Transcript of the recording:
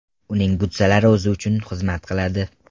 Uning butsalari o‘zi uchun xizmat qiladi.